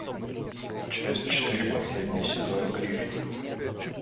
часть четыре последний сезон гриффины